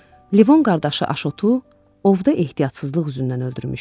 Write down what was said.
Levon qardaşı Aşotu ovda ehtiyatsızlıq üzündən öldürmüşdü.